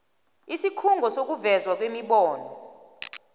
isikhungo sokuvezwa kwemibono